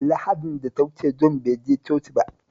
Lahadin da ta wuce Jon bai je coci ba